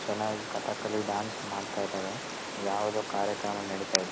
ಭರತನಾಟ್ಯ ಅನ್ನೋದು ಒಳ್ಳೆ ಕಲೆ ಅದು. ಅದು ಆಗಿನ ಕಾಲದಿಂದಾನು ಅ ಒಳ್ಳೆ ಕಲೆ ಆಗೈತೆ. ಮತ್ತೆ ಈಗ್ಲೂ ಆ ಕಲೆನಾ ಮುಂದ್ವರಿಸ್ಕೊಂಡ್ ಹೋಗಿದಾರೆ.